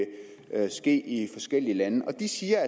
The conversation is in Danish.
ske i forskellige lande og de siger